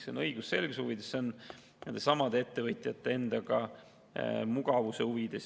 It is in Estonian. See on õigusselguse huvides, nendesamade ettevõtjate enda mugavuse huvides.